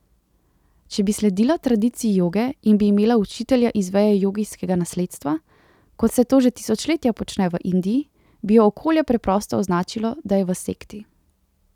Če bi sledila tradiciji joge in bi imela učitelja iz veje jogijskega nasledstva, kot se to že tisočletja počne v Indiji, bi jo okolje preprosto označilo, da je v sekti.